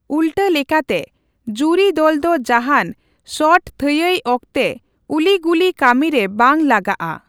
ᱩᱞᱴᱟᱹ ᱞᱮᱠᱟᱛᱮ, ᱡᱩᱨᱤ ᱫᱚᱞᱫᱚ ᱡᱟᱦᱟᱸᱱ ᱥᱚᱴ ᱛᱷᱟᱹᱭᱟᱹᱭ ᱚᱠᱛᱮ ᱩᱞᱤᱼᱜᱩᱞᱤ ᱠᱟᱹᱢᱤᱨᱮ ᱵᱟᱝ ᱞᱟᱜᱟᱼᱟ ᱾